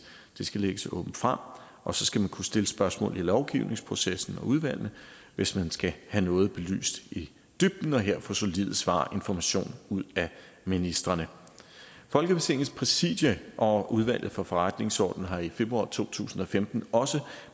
de skal lægges åbent frem og så skal man kunne stille spørgsmål i lovgivningsprocessen og udvalgene hvis man skal have noget belyst i dybden og her få solide svar og information ud af ministrene folketingets præsidium og udvalget for forretningsordenen har i februar to tusind og femten også